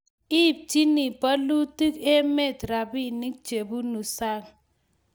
ibchini bolutik emet robinik chebunu sang